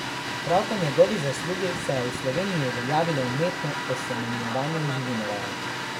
Prav po njegovi zaslugi se je v Sloveniji uveljavilo umetno osemenjevanje v živinoreji.